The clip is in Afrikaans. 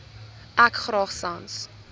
ek graag sans